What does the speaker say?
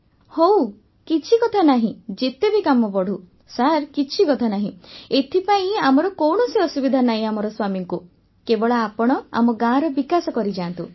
ବର୍ଷାବେନ୍ ହଉ କିଛି କଥା ନାହିଁ ଯେତେ ବି କାମ ବଢ଼ୁ ସାର୍ କିଛି କଥା ନାହିଁ ଏଥିପାଇଁ ଆମର କୌଣସି ଅସୁବିଧା ନାହିଁ ଆମର ସ୍ୱାମୀଙ୍କୁ କେବଳ ଆପଣ ଆମ ଗାଁର ବିକାଶ କରିଯାଆନ୍ତୁ